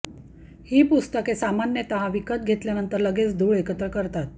ही पुस्तके सामान्यतः विकत घेतल्या नंतर लगेच धूळ एकत्र करतात